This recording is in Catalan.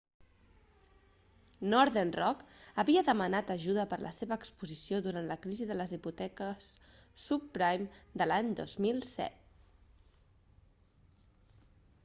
northern rock havia demanat ajuda per la seva exposició durant la crisi de les hipoteques subprime de l'any 2007